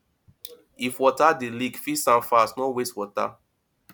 if water dey leak fix am fast no waste water